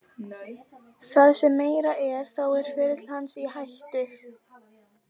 Það sem meira er þá er ferill hans í hættu.